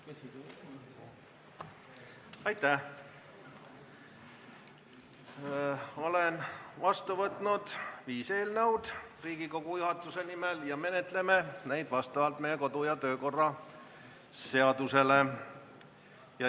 Olen Riigikogu juhatuse nimel vastu võtnud viis eelnõu ja me menetleme neid vastavalt meie kodu- ja töökorra seadusele.